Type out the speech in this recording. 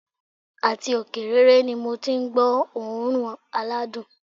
Àti òkè rere ni mo ti n gbó òórùn aládùn